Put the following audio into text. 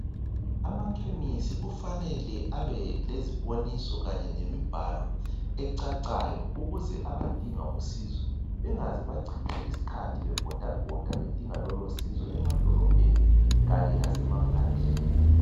amakhemisi kufanele abe leziboniso kanye lemibhalo ecacayo ukuze abadinga usizo bengaze bachitha isikhathi bebhodabhoda bedinga lolosizo emadolobheni kanye lasemaphandleni